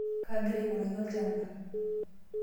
Kaagira aing'uraki olchamba.